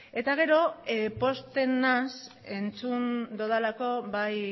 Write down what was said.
eta gero pozten naiz entzun dudalako bai